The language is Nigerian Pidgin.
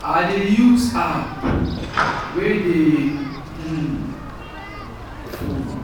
i dey use app wey dey um phone